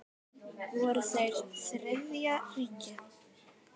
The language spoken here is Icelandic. Voru þeir Þriðja ríkið?